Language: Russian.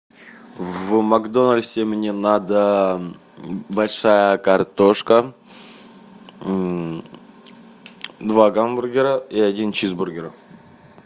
в макдональдсе мне надо большая картошка два гамбургера и один чизбургер